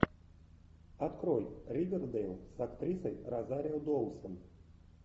открой ривердэйл с актрисой розарио доусон